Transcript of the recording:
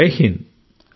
Jai Hind